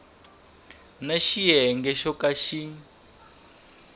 na xiyenge xo ka xi